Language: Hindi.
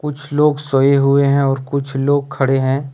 कुछ लोग सोए हुए हैं और कुछ लोग खड़े हैं।